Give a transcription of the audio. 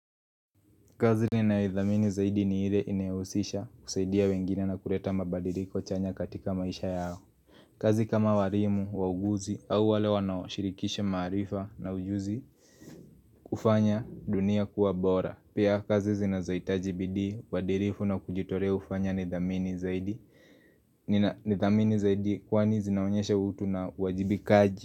Kazi ninayo idhamini zaidi ni ile inyohusisha kusaidia wengine na kuleta mabadiriko chanya katika maisha yao kazi kama walimu, wauguzi au wale wanaoshirikisha maarifa na ujuzi kufanya dunia kuwa bora Pia kazi zinazohitaji bidii, uadirifu na kujitolea hufanya nidhamini zaidi nidhamini zaidi kwani zinaonyesha utu na uwajibikaji.